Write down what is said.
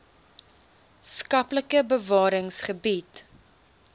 skaplike bewarings gebied